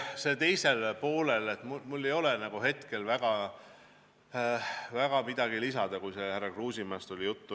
Küsimuse teisele poolele ei ole mul väga midagi lisada, kui oli juttu härra Kruusimäest.